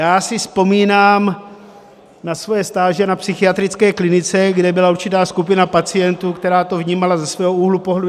Já si vzpomínám na svoje stáže na psychiatrické klinice, kde byla určitá skupina pacientů, která to vnímala ze svého úhlu pohledu.